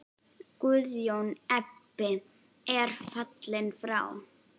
Guðjón Ebbi er fallinn frá.